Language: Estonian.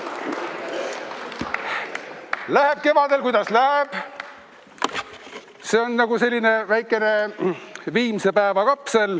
Läheb kevadel, kuidas läheb, see on nagu selline väikene viimsepäeva kapsel.